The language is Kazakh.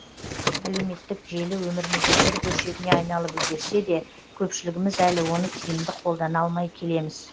әлеуметтік желі өміріміздің бір бөлшегіне айналып үлгерсе де көпшілігіміз әлі оны тиімді қолдана алмай келеміз